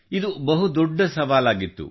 ಇದು ಬಹುದೊಡ್ಡ ಸವಾಲಾಗಿತ್ತು